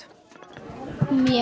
mjög